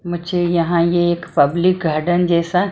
मुझे यहां ये एक पब्लिक गार्डन जैसा--